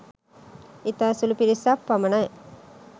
ඉතා සුළු පිරිසක් පමණයි